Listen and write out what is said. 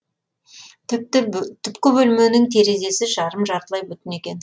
түпкі бөлменің терезесі жарым жартылай бүтін екен